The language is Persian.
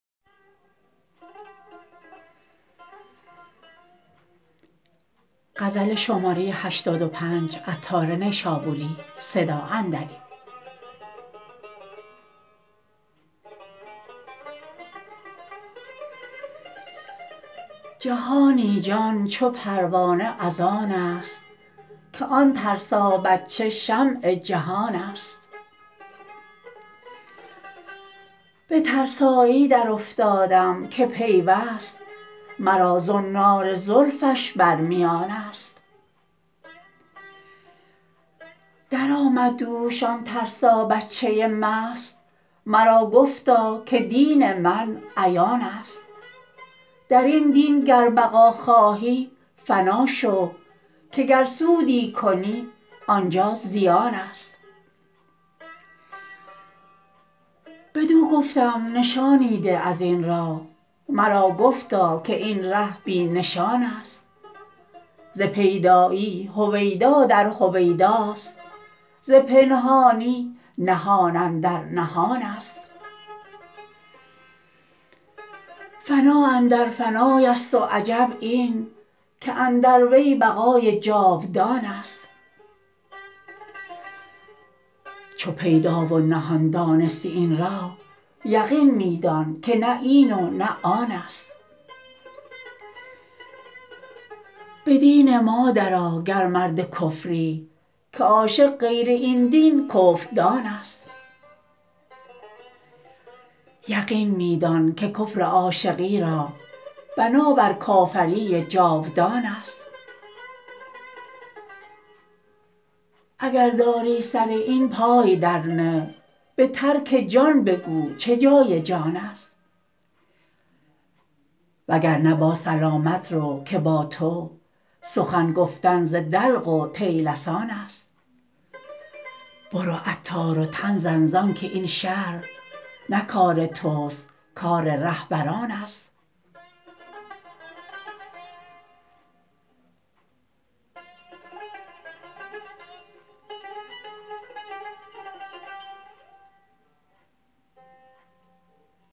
جهانی جان چو پروانه از آن است که آن ترسا بچه شمع جهان است به ترسایی درافتادم که پیوست مرا زنار زلفش بر میان است درآمد دوش آن ترسا بچه مست مرا گفتا که دین من عیان است درین دین گر بقا خواهی فنا شو که گر سودی کنی آنجا زیان است بدو گفتم نشانی ده ازین راه مرا گفتا که این ره بی نشان است ز پیدایی هویدا در هویداست ز پنهانی نهان اندر نهان است فنا اندر فنای است و عجب این که اندر وی بقای جاودان است چو پیدا و نهان دانستی این راه یقین می دان که نه این و نه آن است به دین ما درآ گر مرد کفری که عاشق غیر این دین کفردان است یقین می دان که کفر عاشقی را بنا بر کافری جاودان است اگر داری سر این پای در نه به ترک جان بگو چه جای جان است وگرنه با سلامت رو که با تو سخن گفتن ز دلق و طیلسان است برو عطار و تن زن زانکه این شرح نه کار توست کار رهبران است